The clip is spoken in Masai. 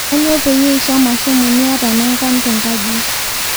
Aanyo payie isham ashomo miata nangan tenkaji